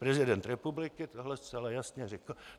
Prezident republiky tohle zcela jasně řekl.